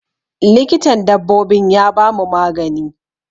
Likitan dabbobin ya bamu magani.